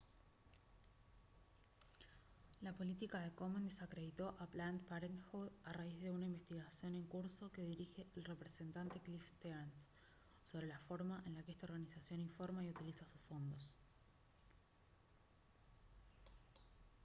la política de komen desacreditó a planned parenthood a raíz de una investigación en curso que dirige el representante cliff stearns sobre la forma en la que esta organización informa y utiliza sus fondos